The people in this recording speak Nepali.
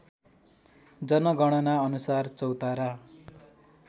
जनगणना अनुसार चौतारा